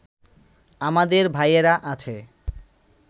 আমাদের ভাইয়েরা আছে